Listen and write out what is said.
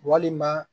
Walima